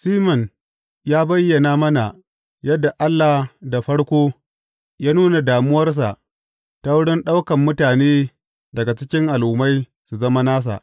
Siman ya bayyana mana yadda Allah da farko ya nuna damuwarsa ta wurin ɗaukan mutane daga cikin Al’ummai su zama nasa.